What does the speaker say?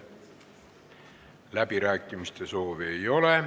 Läbirääkimiste soovi ei ole.